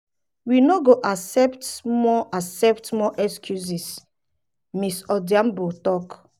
we no go accept more accept more excuses" ms odhiambo tok.